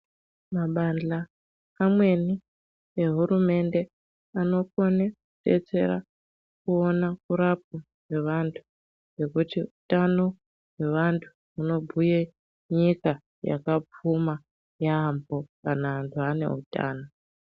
Mabanhla amweni ehurumende anokona kudetsera kuona kurapwa kwevantu Hutano hwevantu unobhuya nyika yakapfuma yambo kana antu ane hutano.